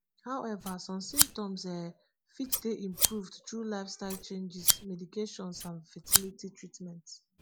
however some symptoms um fit dey improved through lifestyle changes medications and fertility treatments